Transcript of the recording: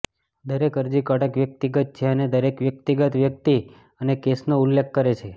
દરેક અરજી કડક વ્યક્તિગત છે અને દરેક વ્યક્તિગત વ્યક્તિ અને કેસનો ઉલ્લેખ કરે છે